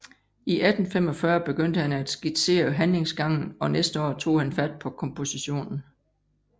I 1845 begyndte han at skitsere handlingsgangen og næste år tog han fat på kompositionen